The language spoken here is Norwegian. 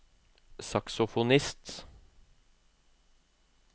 saksofonist